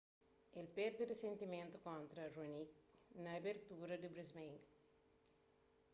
el perde risentimenti kontra raonic na abertura di brisbane